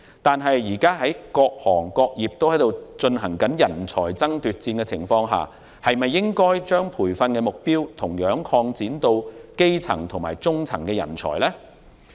然而，現時各行各業均出現人才爭奪戰，金管局是否應把培訓對象擴展至基層及中層人才呢？